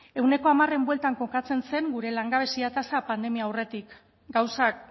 ehuneko hamararen bueltan kokatzen zen gure langabezia tasa pandemia aurretik gauzak